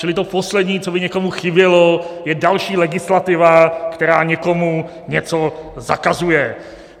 Čili to poslední, co by někomu chybělo, je další legislativa, která někomu něco zakazuje.